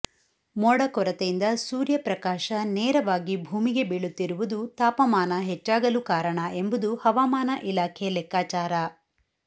ಮೋಡ ಕೊರತೆಯಿಂದ ಸೂರ್ಯಪ್ರಕಾಶ ನೇರವಾಗಿ ಭೂಮಿಗೆ ಬೀಳುತ್ತಿರುವುದು ತಾಪಮಾನ ಹೆಚ್ಚಾಗಲು ಕಾರಣ ಎಂಬುದು ಹವಾಮಾನ ಇಲಾಖೆ ಲೆಕ್ಕಾಚಾರ